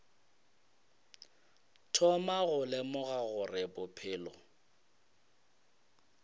thoma go lemoga gore bophelo